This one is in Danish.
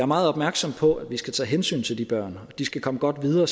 meget opmærksom på at vi skal tage hensyn til de børn de skal komme godt videre